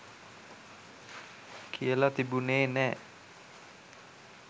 කියල තිබුණේ නෑ.